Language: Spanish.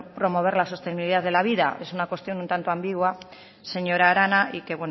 promover la sostenibilidad de la vida es una cuestión un tanto ambigua señora arana y que